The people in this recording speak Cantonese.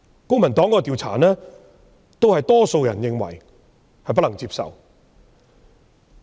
公民黨進行的調查亦顯示，多數人認為計劃不能接受。